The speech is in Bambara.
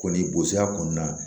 Kɔni bozoya kɔnɔna na